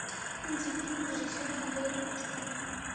найди фильм режиссера андрея кравчука